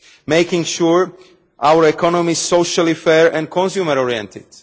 making sure our economy is socially fair and consumer oriented